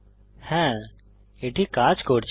হ্যা এটি কাজ করছে